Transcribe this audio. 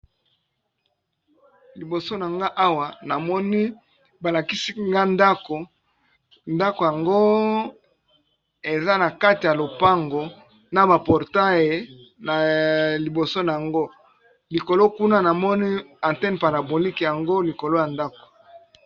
Liboso na nga awa namoni balakisinga ndako, ndako yango eza na kati ya lopango na ba portail liboso nango likolo kuna namoni athene parabolique yango likolo ya ndako.